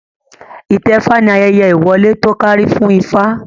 Itẹfa ni ayẹyẹ ìwọlé to kárí fún ifá